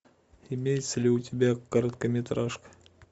имеется ли у тебя короткометражка